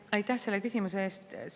Aitäh selle küsimuse eest!